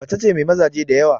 Macace mai mazaje diyawa